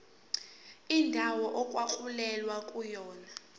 indawo okwakulwelwa kuyona